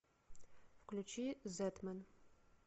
включи зетмен